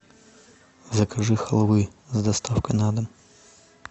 закажи халвы с доставкой на дом